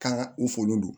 K'an ka u folon don